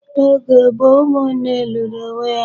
N',oge gboo, ụmụnne lụrụ onwé há.